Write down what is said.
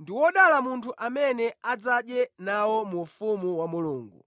“Ndi wodala munthu amene adzadye nawo mu ufumu wa Mulungu.”